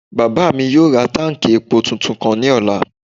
Bàbá mi yóò ra táùnkì epo tuntun kan ní ọ̀la